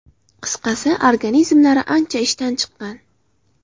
Qisqasi, organizmlari ancha ishdan chiqqan.